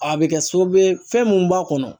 A bɛ kɛ sababu ye fɛn mun b'a kɔnɔ.